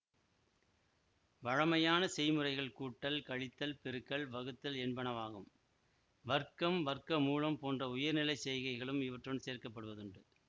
வழமையான செய்முறைகள் கூட்டல் கழித்தல் பெருக்கல் வகுத்தல் என்பனவாகும் வர்க்கம் வர்க்கமூலம் போன்ற உயர்நிலைச் செய்கைகளும் இவற்றுடன் சேர்க்கப்படுவதுண்டு